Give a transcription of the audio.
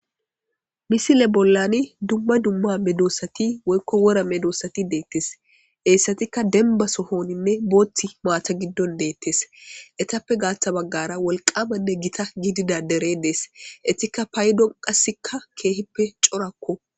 misile bollani dumma dumma medoossati woykko wora medoossati deettes eessatikka denba sohoninne booththi maata giddon deettes etappe gaaththa baggara wolqamanne gita gidida dere dees etikka paydonqasikka keehippe corakko